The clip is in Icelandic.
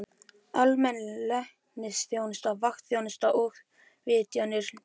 Almenn læknisþjónusta, vaktþjónusta og vitjanir til sjúklinga.